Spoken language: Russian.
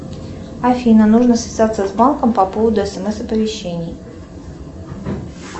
афина нужно связаться с банком по поводу смс оповещений